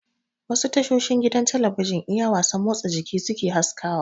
Wasu tashoshin gidan talabijin iya wasan motsa jiki suke haskawa